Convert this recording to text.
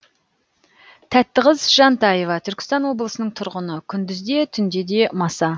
тәттіқыз жантаева түркістан облысының тұрғыны күндіз де түнде де маса